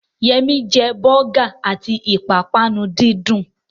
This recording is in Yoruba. Yẹmí jẹ bọ́gà àti ìpápánu díndín